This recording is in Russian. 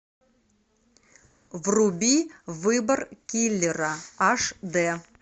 вруби выбор киллера аш д